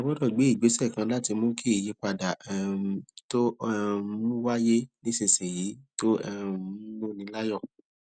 a gbódò gbé ìgbésè láti mú kí ìyípadà um tó um ń wáyé nísinsìnyí tó um ń múni láyò